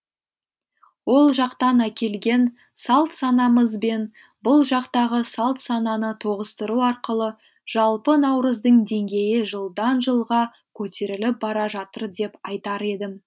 ол жақтан әкелген салт санамыз бен бұл жақтағы салт сананы тоғыстыру арқылы жалпы наурыздың денгейі жылдан жылға көтеріліп бара жатыр деп айтар едім